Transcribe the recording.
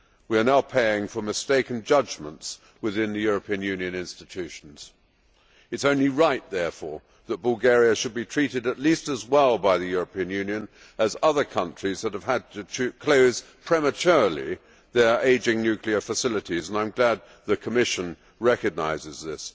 We are now paying for mistaken judgments within the European Union institutions. It is only right, therefore, that Bulgaria should be treated at least as well by the European Union as other countries that have had to close prematurely their ageing nuclear facilities, and I am glad that the Commission recognises this.